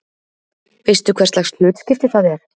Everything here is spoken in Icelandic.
Veistu hverslags hlutskipti það er?